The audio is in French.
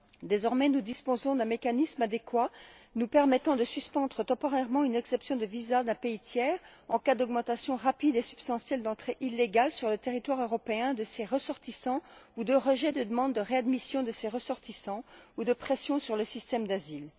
Désormais, nous disposons d'un mécanisme adéquat nous permettant de suspendre temporairement une exemption de visa d'un pays tiers en cas d'augmentation rapide et substantielle d'entrées illégales, sur le territoire européen, de ses ressortissants ou de rejet de demande de réadmission de ses ressortissants, ou de pression sur le système d'asile.